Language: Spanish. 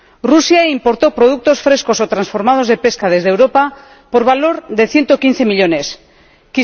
Rusia importó productos frescos o transformados de pesca desde Europa por valor de 115 millones de euros.